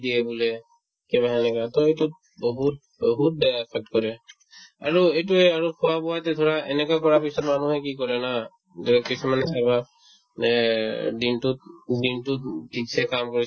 দিয়ে বোলে কিবা সেনেকা to সেইটোত বহুত বহুত বেয়া affect কৰে আৰু এইটোয়ে আৰু খোৱা-বোৱাতে ধৰা এনেকুৱা কৰা হৈছে মানুহে কি কৰে জানা যে কিছুমানৰ স্বভাৱ যে দিনতোত উম দিনতোত উম থিকছে কাম কৰিছে